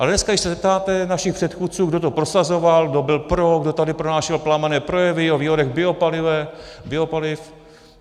Ale dneska když se zeptáte našich předchůdců, kdo to prosazoval, kdo byl pro, kdo tady pronášel plamenné projevy o výhodách biopaliv...